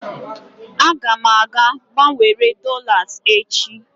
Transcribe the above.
Aga m aga gbanwere dolas echi.